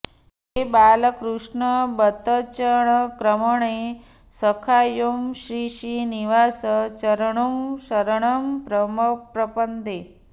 है बालकृष्ण बतचङ्क्रमणे सखायौ श्रीश्रीनिवास चरणौ शरणं प्रपद्ये